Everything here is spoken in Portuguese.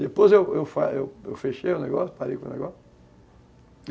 Depois eu fechei o negócio, parei com o negócio.